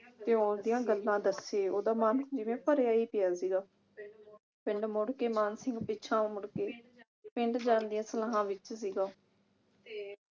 ਤੇ ਉਸਦੀਆਂ ਗੱਲਾਂ ਦੱਸੇ ਉਹਦਾ ਮਨ ਜਿਵੇਂ ਭਰਿਆ ਈ ਭਿਆ ਸੀਗਾ ਪਿੰਡ ਮੁੜ ਕੇ ਮਾਨ ਸਿੰਘ ਪਿਛਾਂਹ ਮੁੜਕੇ ਪਿੰਡ ਜਾਣ ਦੀਆਂ ਸਲਾਹਾਂ ਵਿਚ ਸੀਗਾ